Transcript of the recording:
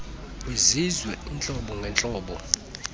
kwizizwe kwiintlobo ngentlobo